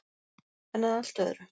En að allt öðru.